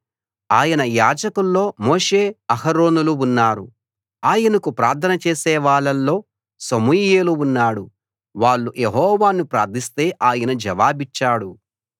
ఆయన యాజకుల్లో మోషే అహరోనులు ఉన్నారు ఆయనకు ప్రార్థన చేసేవాళ్ళలో సమూయేలు ఉన్నాడు వాళ్ళు యెహోవాను ప్రార్థిస్తే ఆయన జవాబిచ్చాడు